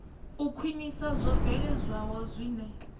u khwinisa zwo bveledzwaho zwine